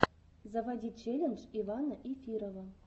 заводи челлендж ивана эфирова